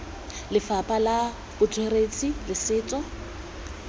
lefapha la botsweretshi le setso